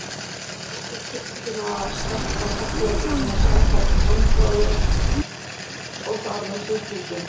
Áhrif tiltekinna sterkra segla geta þó skaðað gangráðinn og þar með sjúklinginn.